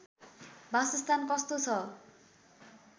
बासस्थान कस्तो छ